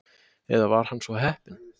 Eða var hann svo heppinn?